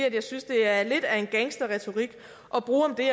at jeg synes det er lidt af en gangsterretorik at bruge om det